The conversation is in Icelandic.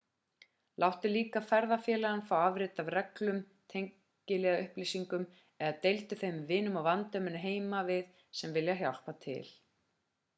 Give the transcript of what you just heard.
láttu líka ferðafélaga fá afrit af reglunum/tengiliðaupplýsingum eða deildu þeim með vinum og vandamönnum heima við sem vilja hjálpa til